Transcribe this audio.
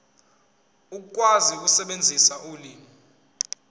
ukwazi ukusebenzisa ulimi